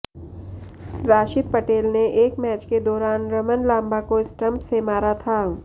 राशिद पटेल ने एक मैच के दौरान रमन लांबा को स्टंप से मारा था